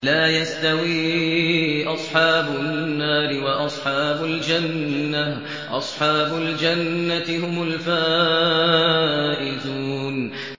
لَا يَسْتَوِي أَصْحَابُ النَّارِ وَأَصْحَابُ الْجَنَّةِ ۚ أَصْحَابُ الْجَنَّةِ هُمُ الْفَائِزُونَ